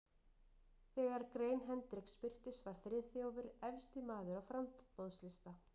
Þegar grein Hendriks birtist, var Friðþjófur efsti maður á framboðslista